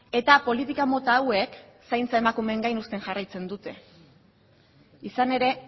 eta politika mota hauek zaintza emakumeen gain uzten jarraitzen dute izan ere